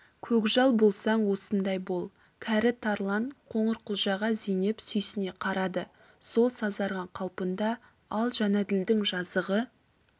көкжал болсаң осындай бол кәрі тарлан қоңырқұлжаға зейнеп сүйсіне қарады сол сазарған қалпында ал жәнәділдің жазығы